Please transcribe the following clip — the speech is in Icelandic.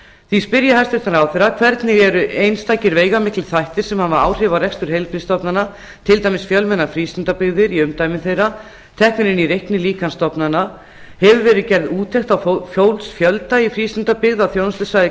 því spyr ég hæstvirtan ráðherra fyrstu hvernig eru einstakir veigamiklir þættir sem hafa áhrif á rekstur heilbrigðisstofnana til dæmis fjölmennar frístundabyggðir í umdæmi þeirra teknir inn í reiknilíkan stofnananna annars hefur verið gerð úttekt á fólksfjölda í frístundabyggð á þjónustusvæði